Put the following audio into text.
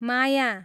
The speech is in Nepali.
माया